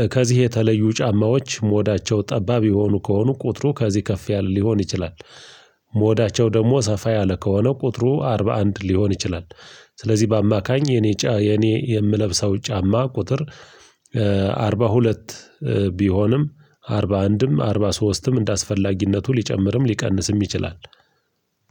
እ ከዚህ የተለዩ ጫማዎች ሞዳቸው ጠባብ የሆኑ ከሆኑ ቁጥሩ ከዚህ ከፍ ያለ ሊሆን ይችላል። ሞዳቸው ደግሞ ሰፋ ያለ ከሆነ ቁጥሩ አርባ አንድ ሊሆን ይችላል። ስለዚህ በአማካኝ የኔ ጫ የኔ የምለብሰው ጫማ ቁጥር አርባ ሁለት ቢሆንም አርባ አንድም አርባ አንድም አርባ ሶስትም እንደአስፈላጊነቱ ሊጨምርም ሊቀንስም ይችላል።